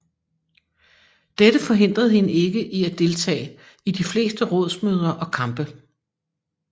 Dette forhindrede hende ikke i at deltage i de fleste rådsmøder og kampe